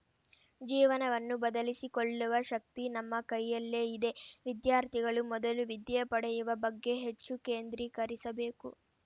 ಜೀವನವನ್ನು ಬದಲಿಸಿಕೊಳ್ಳುವ ಶಕ್ತಿ ನಮ್ಮ ಕೈಯಲ್ಲೇ ಇದೆ ವಿದ್ಯಾರ್ಥಿಗಳು ಮೊದಲು ವಿದ್ಯೆ ಪಡೆಯುವ ಬಗ್ಗೆ ಹೆಚ್ಚು ಕೇಂದ್ರೀಕರಿಸಬೇಕು